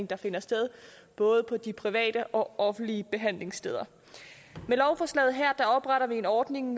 der finder sted både på de private og offentlige behandlingssteder med lovforslaget her opretter vi en ordning